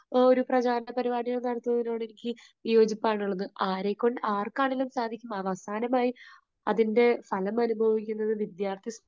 ആ ഒരു പ്രചാരണപരിപാടികൾ നടത്തുന്നതിനോട് എനിക്ക് വിയോജിപ്പാണുള്ളത്. ആരെക്കൊണ്ട് ആർക്ക് ആണെങ്കിലും സാധിക്കും, അവസാനമായി അതിന്റെ ഫലമനുഭവിക്കുന്നത് വിദ്യാർഥി സ,